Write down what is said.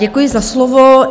Děkuji za slovo.